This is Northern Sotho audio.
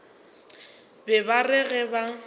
be ba re ge ba